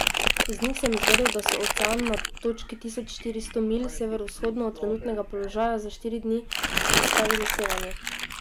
Iz njih sem izvedel, da so ocean na točki tisoč štiristo milj severovzhodno od trenutnega položaja za štiri dni izpostavili sevanju.